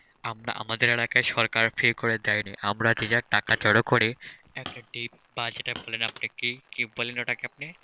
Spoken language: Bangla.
আমরা আমাদের সরকার free করে দেয়নি আমরা যে যার টাকা জড়ো করে একটা কি পাঁচটা বললেন আপনি কি কি বললেন ওটা কে আপনি?